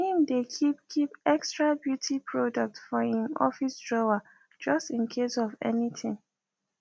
im dae keep keep extra beauty products for im office drawer just incase of anything